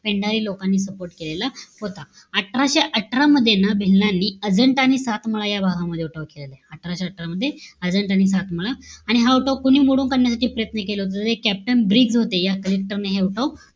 पेंढारी लोकांनी support केलेला होता. अठराशे अठरा मध्ये, ना भिल्लांनी अजंठा आणि सातमळा या भागामध्ये उठाव केलेला आहे. अठराशे अठरा मध्ये, अजंठा आणि सातमळा. आणि हा उठाव कोणी मोडून काढण्यासाठी प्रयत्न केला होता. त ते captain ब्रिग्स होते. या collector ने हे उठाव,